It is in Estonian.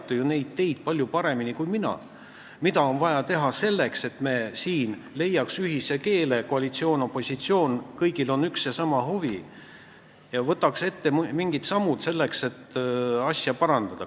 Teie teate ju palju paremini kui mina, mida on vaja teha selleks, et me siin ühise keele leiaks – kõigil, koalitsioonil ja opositsioonil, on üks ja sama huvi – ja võtaks ette mingeid samme selleks, et asja parandada.